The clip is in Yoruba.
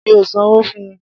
Mí ò sanwó fun.